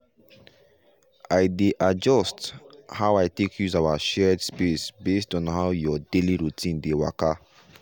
i dey adjust how i take use our shared space based on how your daily routine dey waka.